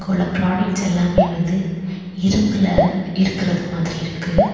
இங்குள்ள ப்ராடக்ட்ஸ் எல்லாமே வந்து இரும்புல இருக்கிறது மாதிரி இருக்கு.